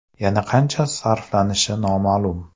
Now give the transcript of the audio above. Yana qancha sarflanishi noma’lum.